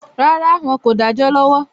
Rárá, Wọn kò dájọ́ lọ́wọ́